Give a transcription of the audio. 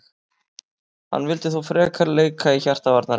Hann vill þó frekar leika í hjarta varnarinnar.